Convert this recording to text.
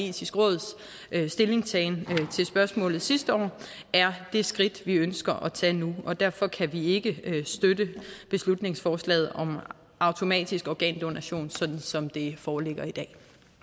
etiske råds stillingtagen til spørgsmålet sidste år er det skridt vi ønsker at tage nu og derfor kan vi ikke støtte beslutningsforslaget om automatisk organdonation sådan som det foreligger i dag